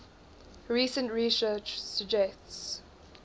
recent research suggests